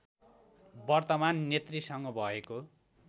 वर्तमान नेतृसँग भएको